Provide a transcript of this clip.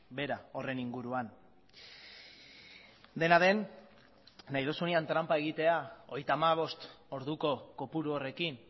behera horren inguruan dena den nahi duzunean tranpa egitea hogeita hamabost orduko kopuru horrekin